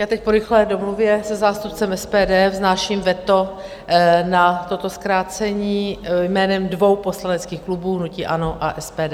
Já teď po rychlé domluvě se zástupcem SPD vznáším veto na toto zkrácení jménem dvou poslaneckých klubů - hnutí ANO a SPD.